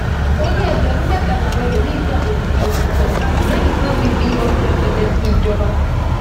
ó ní ẹgbẹrún mẹta làwọn ẹlòmíín gbà lódidi oṣù kan lẹyìn tí wọn ti fi ọdún rẹpẹtẹ ṣíńjọba